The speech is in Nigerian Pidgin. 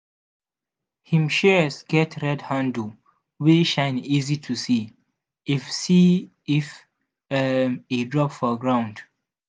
him shears get red handle wey shine easy to see if see if um e drop for ground.